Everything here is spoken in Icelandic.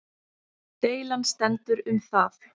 Deilan stendur um það